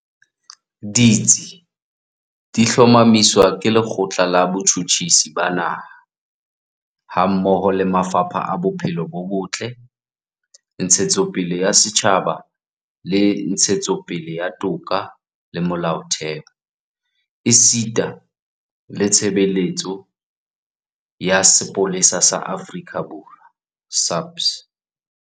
Ditsi di hlomamiswa ke Le kgotla la Botjhutjhisi ba Naha, hammoho le mafapha a Bophelo bo Botle, Ntshetsopele ya Setjhaba le Ntshetsopele ya Toka le Molaotheo, esita le Tshebeletso ya Sepolesa sa Aforika Borwa SAPS.